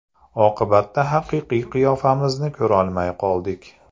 Oqibatda haqiqiy qiyofamizni ko‘rolmay qoldik.